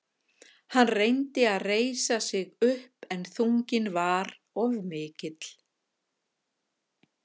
Hann reyndi að reisa sig upp en þunginn var of mikill.